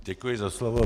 Děkuji za slovo.